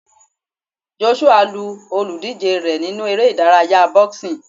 Joshua lu olùdíje rẹ̀ nínú eré ìdárayá boxing.